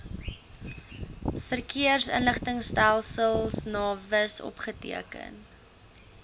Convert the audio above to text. verkeersinligtingstelsel navis opgeteken